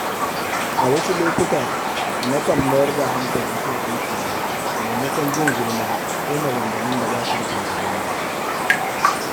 A wasu lokuta, na kan mayar da hankali kan aikina maimakon jin gulma ko maganganun da basu da amfani.